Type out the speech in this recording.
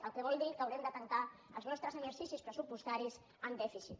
cosa que vol dir que haurem de tancar els nostres exercicis pressupostaris amb dèficit